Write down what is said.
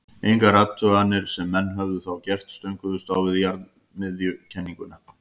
engar athuganir sem menn höfðu þá gert stönguðust á við jarðmiðjukenninguna